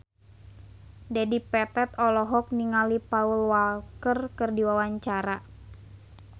Dedi Petet olohok ningali Paul Walker keur diwawancara